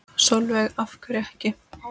Sólveig: Af hverju ekki?